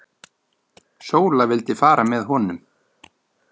Sóla vildi fara með honum.